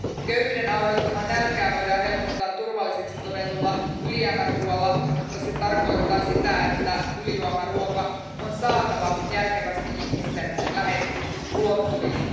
Köyhyyden aiheuttamaa nälkää voidaan helpottaa turvalliseksi todetulla ylijäämäruoalla, mutta se tarkoittaa sitä, että ylijäämäruoka on saatava järkevästi ihmisten ulottuville.